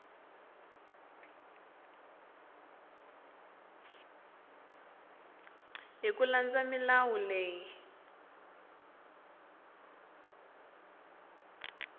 hi ku landza milawu leyi